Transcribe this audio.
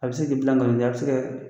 A bɛ se k'i bila ngalon tigɛ a bɛ se kɛ